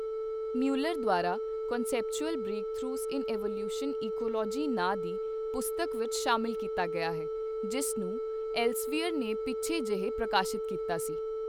Mueller ਦੁਆਰਾ conceptual breakthroughs in evolution ecology ਨਾਂਅ ਦੀ ਪੁਸਤਕ ਵਿੱਚ ਸ਼ਾਮਲ ਕੀਤਾ ਗਿਆ ਹੈ, ਜਿਸ ਨੂੰ ਐਲਸਵੀਅਰ ਨੇ ਪਿੱਛੇ ਜਿਹੇ ਪ੍ਰਕਾਸ਼ਿਤ ਕੀਤਾ ਹੈ।